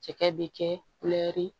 Cɛkɛ bɛ kɛ